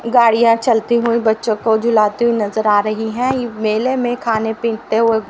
गाड़िया चलती हुई बच्चों को झुलाती हुई नजर आ रही है मेले में खाने पीते हुए--